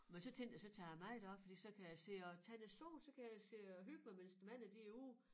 Men så tænkte jeg så tager med derop fordi så kan jeg sidde og tage lidt sol så kan jeg sidde og hygge mig mens æ manne de er ude